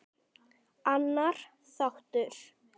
Annar þáttur.